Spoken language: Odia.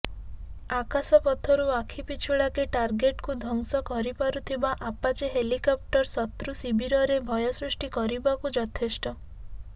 ଆକାଶପଥରୁ ଆଖି ପିଛୁଳାକେ ଟାର୍ଗେଟକୁ ଧ୍ୱଂସ କରିପାରୁଥିବା ଆପାଚେ ହେଲିକପ୍ଟର ଶତ୍ରୁ ଶିବିରରେ ଭୟ ସୃଷ୍ଟି କରିବାକୁ ଯଥେଷ୍ଟ